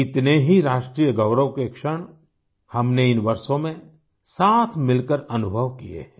कितने ही राष्ट्रीय गौरव के क्षण हमने इन वर्षों में साथ मिलकर अनुभव किए हैं